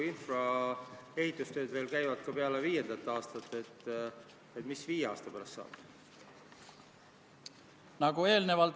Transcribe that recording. Hääletustulemused Poolt hääletas 61 Riigikogu liiget, vastuolijaid ja erapooletuid ei olnud.